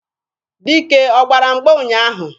Dike ọ gbara mgba ụnyaahụ?